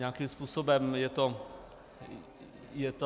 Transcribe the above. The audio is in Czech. Nějakým způsobem je to vyřešeno.